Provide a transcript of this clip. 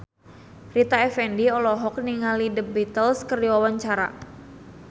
Rita Effendy olohok ningali The Beatles keur diwawancara